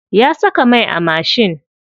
Ya saka mai a mashin.